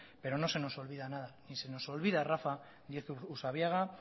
pero no se nos olvida nada ni se nos olvida rafa díez usabiaga